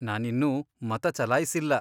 ನಾನಿನ್ನೂ ಮತ ಚಲಾಯ್ಸಿಲ್ಲ.